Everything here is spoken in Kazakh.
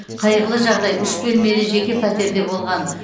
қайғылы жағдай үш бөлмелі жеке пәтерде болған